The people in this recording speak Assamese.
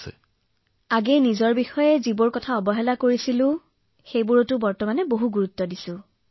নিজকে পূৰ্বে মই বহু আওকাণ কৰিছিলো এতিয়া ধ্যান দিবলৈ আৰম্ভ কৰিছো